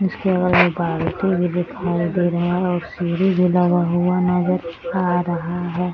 उसके अगल बाग टी.वी. दिखाई दे रहा और सीढ़ी भी लगा हुआ नजर आ रहा है।